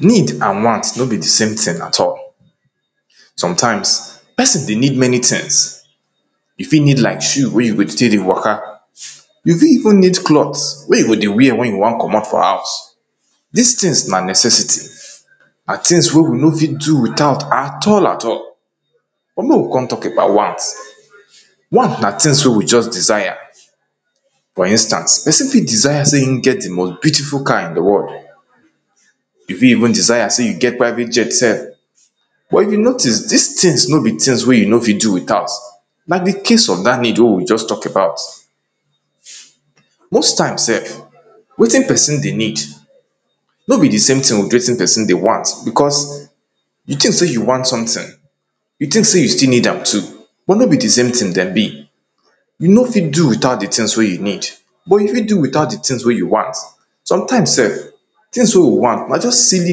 Need and want no be di same thing at all Sometimes person di need many things, you fit need like shoe wey you go take dey waka you fit even need cloth wey you go dey wear wen you wan comot for house Dis things na necessity and things wey we no fit do without at all at all But make we come talk about want. Want na things wey we just desire for instance person fit desire sey e get di most beautiful car in di world You fit even desire sey you get private jet sef. But if you notice dis things no be things wey you no fit do without Na di case of dat need wey we just talk about. Most times sef wetin person dey need no be di same with wetin person dey want becos you think sey you want something, you think sey you stillneed am too, but no be di same thing dem be you no fit do without di things wey you need, but you fit do without di things wey you want Sometimes sef, things wey we want na just sily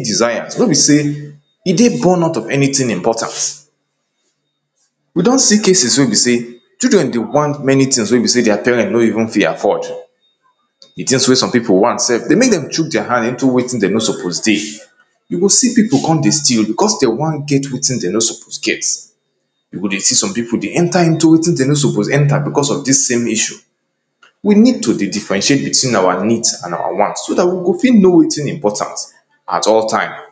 desire no be sey e dey born out of anything important. We don see cases wey be sey Children dey want many things wey be sey their parents no even fit afford Di things wey some people want sef, dey make dem shuk their hand into wetin dem no suppose dey You go see people come dey steal, becos dem wan get wetin dem no suppose get you go dey see some people dey enter wetin dem no suppose enter becos of dis same issue We need to dey diffferentiate between our need and our want, so dat we go fit know wetin important at all time